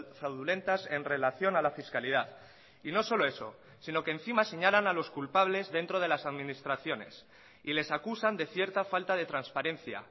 fraudulentas en relación a la fiscalidad y no solo eso sino que encima señalan a los culpables dentro de las administraciones y les acusan de cierta falta de transparencia